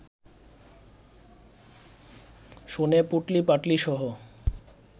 শুনে, পুঁটলি-পাঁটলিসহ